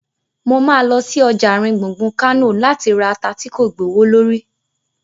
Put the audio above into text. Mo ma lọ sí ọjà àárín gbùngbùn Kánò láti ra ata tí kò gbowó lórí